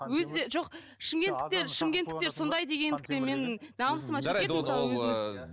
өзі жоқ шымкенттіктер шымкенттіктер сондай дегендігі мен намысыма тиіп кетті мысалы өзіміз